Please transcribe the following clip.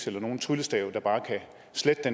eller nogen tryllestav der bare kan slette de